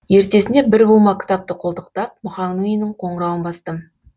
ертесіне бір бума кітапты қолтықтап мұхаңның үйінің қоңырауын бастым